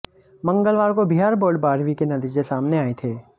मंगलवार को बिहार बोर्ड बारहवीं के नतीजे सामने आए थे